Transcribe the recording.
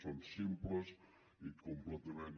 són simples i completament